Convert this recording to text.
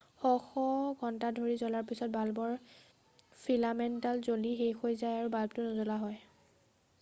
শ শ ঘণ্টা ধৰি জ্বলাৰ পিছত বাল্বৰ ফিলামেণ্টডাল জ্বলি শেষ হৈ যায় আৰু বাল্বটো নজ্বলা হয়